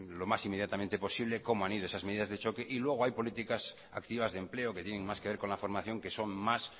lo más inmediatamente posible cómo han ido esas medidas de choque y luego hay políticas activas de empleo que tienen más que ver con la formación que son más